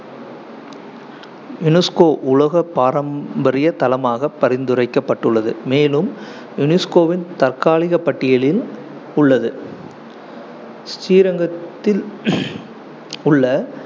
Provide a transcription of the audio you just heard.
unesco உலக பாரம்பரிய தளமாக பரிந்துரைக்கப்பட்டுள்ளது, மேலும் UNESCO வின் தற்காலிக பட்டியலில் உள்ளது ஸ்ரீரங்கத்தில் உள்ள